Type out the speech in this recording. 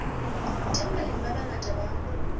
teng balemi ba bangata ba